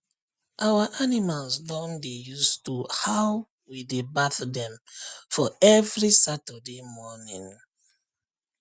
our animals don dey use to how we dey bath dem for every saturday morning